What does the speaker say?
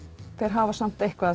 hafa samt eitthvað